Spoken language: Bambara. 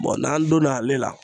n'an donn'ale la